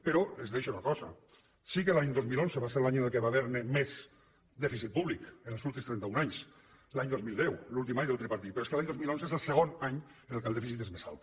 però es deixa una cosa sí que l’any dos mil onze va ser l’any en què va haver hi més dèficit públic en els últims trenta un anys l’any dos mil deu l’últim any del tripartit però és que l’any dos mil onze és el segon any en què el dèficit és més alt